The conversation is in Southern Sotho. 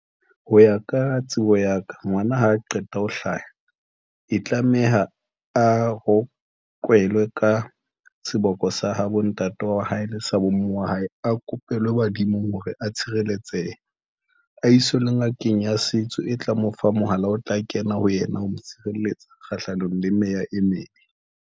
Ho ya ka tsebo ya ka, ngwana ha a qeta ho hlaha, e tlameha a rokelwe ka seboko sa ha bontate wa hae le sa bomme wa hae, a kopelwe badimong hore a tshireletsehe, a iswe le ngakeng ya setso, e tla mo fa mohala o tla kena ho yena ho mo tshireletsa kgahlanong le meya e mebe.